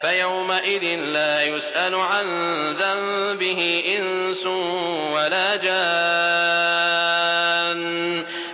فَيَوْمَئِذٍ لَّا يُسْأَلُ عَن ذَنبِهِ إِنسٌ وَلَا جَانٌّ